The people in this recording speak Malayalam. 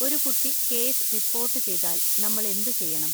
ഒരു കുട്ടി കേസ് റിപ്പോർട്ട് ചെയ്താൽ നമ്മൾ എന്തുചെയ്യണം?